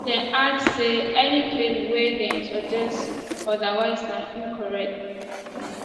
dem add say any claims wey dey suggest odawise na incorrect